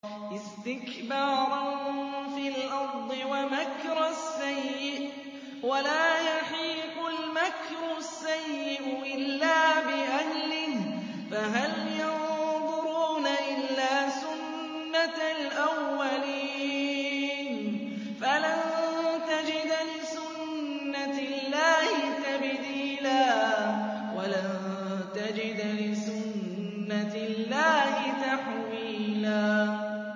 اسْتِكْبَارًا فِي الْأَرْضِ وَمَكْرَ السَّيِّئِ ۚ وَلَا يَحِيقُ الْمَكْرُ السَّيِّئُ إِلَّا بِأَهْلِهِ ۚ فَهَلْ يَنظُرُونَ إِلَّا سُنَّتَ الْأَوَّلِينَ ۚ فَلَن تَجِدَ لِسُنَّتِ اللَّهِ تَبْدِيلًا ۖ وَلَن تَجِدَ لِسُنَّتِ اللَّهِ تَحْوِيلًا